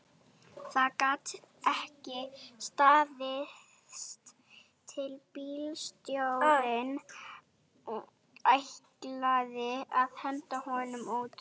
Það gat ekki staðist að bílstjórinn ætlaði að henda honum út